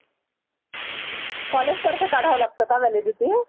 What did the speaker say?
college तर्फे कडवा लागत का validity